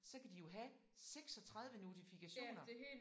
Så kan de jo have 36 notifikationer